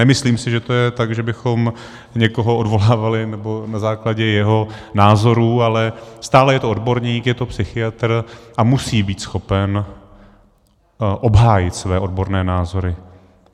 Nemyslím si, že to je tak, že bychom někoho odvolávali nebo na základě jeho názorů, ale stále je to odborník, je to psychiatr a musí být schopen obhájit svoje odborné názory.